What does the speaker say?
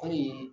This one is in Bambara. Kɔni